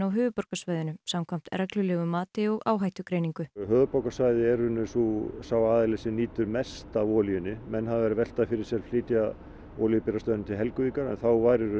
höfuðborgarsvæðinu samkvæmt reglulegu mati og áhættugreiningu höfuðborgarsvæðið er sá aðili sem nýtir mest af olíunni menn hafa verið að velta fyrir sér að flytja olíubirgðastöðina til Helguvíkur en þá væri